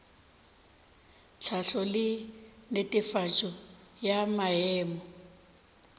tlhahlo le netefatšo ya maemo